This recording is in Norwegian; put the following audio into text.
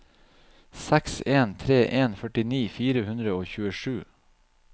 seks en tre en førtini fire hundre og tjuesju